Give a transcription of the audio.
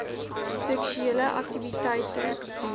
seksuele aktiwiteite deel